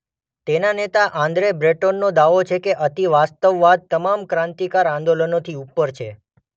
તેના નેતા આન્દ્રે બ્રેટોનનો દાવો છે કે અતિવાસ્તવવાદ તમામ ક્રાંતિકારક આંદોલનોથી ઉપર છે.